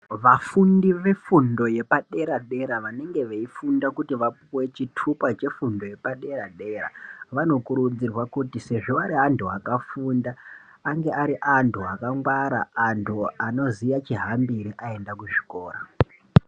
Vafundi vefundo yepadera dera vanonge veyifunda kuti vapuwe chithupha chefundo yepadera dera, vanokurudzirwa kuti sezvi vari antu wakafunda ange ari antu akangwara, antu anoziya chihambiri ayenda kuchikora.